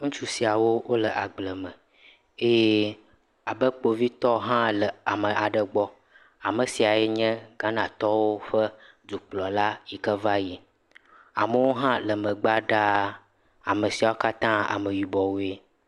Ŋutsu siawo wo le agble me eye abe kpovitɔ hã le ame aɖe gbɔ. Ame siae nye Ghanatɔwo ƒe dukplɔla si ke va yi. Amewo hã le megbea ɖaa. Ame saiwo katã ameyibɔwoe.